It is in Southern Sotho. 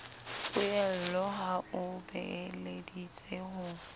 poello ha o beeleditse ho